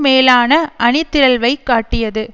மேலான அணிதிரள்வை காட்டியது